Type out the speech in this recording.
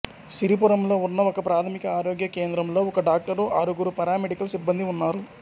సిరిపురంలో ఉన్న ఒకప్రాథమిక ఆరోగ్య కేంద్రంలో ఒక డాక్టరు ఆరుగురు పారామెడికల్ సిబ్బందీ ఉన్నారు